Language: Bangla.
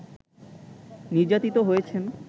নির্যাতিত হয়েছেন